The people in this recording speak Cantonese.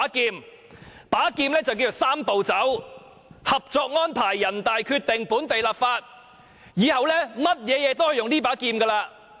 這把劍叫作"三步走"：《合作安排》、人大決定、本地立法，以後做任何事都可以用這把劍。